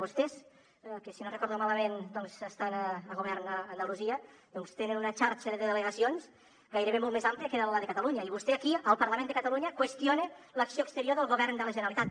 vostès que si no recordo malament doncs estan al govern a andalusia doncs tenen una xarxa de delegacions gairebé molt més àmplia que la de catalunya i vostè aquí al parlament de catalunya qüestiona l’acció exterior del govern de la generalitat